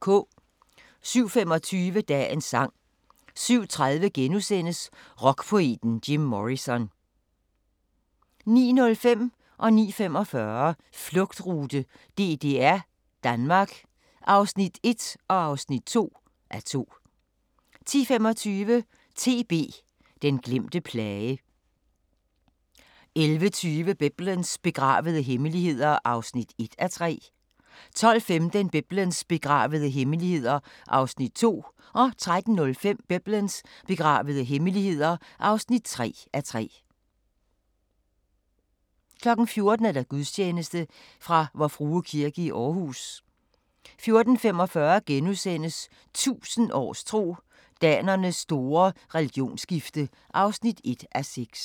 07:25: Dagens sang 07:30: Rockpoeten Jim Morrison * 09:05: Flugtrute: DDR-Danmark (1:2) 09:45: Flugtrute: DDR-Danmark (2:2) 10:25: TB – den glemte plage 11:20: Biblens begravede hemmeligheder (1:3) 12:15: Biblens begravede hemmeligheder (2:3) 13:05: Biblens begravede hemmeligheder (3:3) 14:00: Gudstjeneste fra Vor Frue Kirke, Aarhus 14:45: 1000 års tro: Danernes store religionsskifte (1:6)*